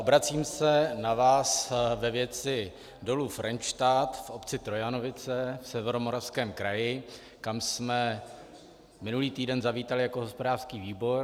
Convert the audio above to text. Obracím se na vás ve věci Dolu Frenštát v obci Trojanovice v Severomoravském kraji, kam jsme minulý týden zavítali jako hospodářský výbor.